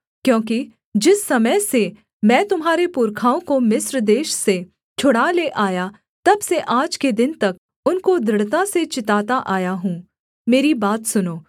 क्योंकि जिस समय से मैं तुम्हारे पुरखाओं को मिस्र देश से छुड़ा ले आया तब से आज के दिन तक उनको दृढ़ता से चिताता आया हूँ मेरी बात सुनों